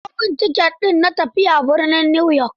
Karɓo min ticket di na tafiya birnin Newyork.